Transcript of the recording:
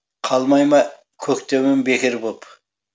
қалмай ма көктемім бекер боп